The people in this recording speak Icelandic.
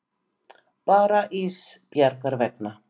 Bara Ísbjargar vegna.